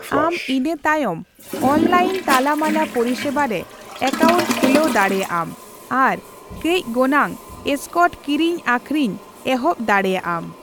ᱟᱢ ᱤᱱᱟ ᱛᱟᱭᱚᱢ ᱚᱱᱞᱟᱭᱤᱱ ᱛᱟᱞᱟᱢᱟᱞᱟ ᱯᱚᱨᱤᱥᱮᱵᱟ ᱨᱮ ᱮᱠᱟᱩᱱᱴ ᱠᱷᱩᱞᱟᱣ ᱫᱟᱲᱮᱭᱟᱜ ᱟᱢ ᱟᱨ ᱠᱟ, ᱞᱽ ᱜᱚᱱᱟᱝ ᱮᱥᱠᱚᱴ ᱠᱤᱨᱤᱧ ᱟᱹᱠᱷᱤᱨᱤᱧ ᱮᱦᱚᱵ ᱫᱟᱲᱮᱭᱟᱜ ᱟᱢ ᱾